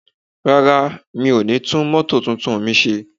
Rárá, mi ò ní tún mótò tuntun mi ṣe